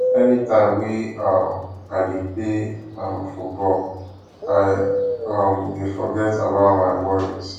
any time wey um i dey play um football i um dey forget about my worries